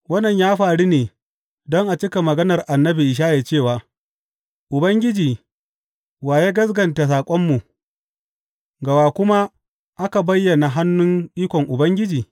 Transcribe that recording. Wannan ya faru ne, don a cika maganar annabi Ishaya cewa, Ubangiji, wa ya gaskata saƙonmu, ga wa kuma aka bayyana hannun ikon Ubangiji?